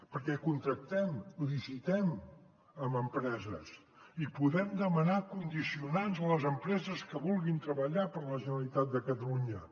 perquè contractem licitem amb empreses i podem demanar condicionants a les empreses que vulguin treballar per la generalitat de catalunya